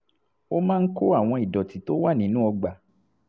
ó máa ń kó àwọn ìdọ̀tí tó wà nínú ọgbà